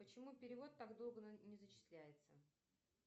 почему перевод так долго не зачисляется